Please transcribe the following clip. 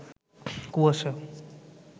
কুয়াশা